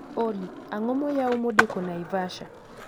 Olly, ang'o moyaw modeko naivasha?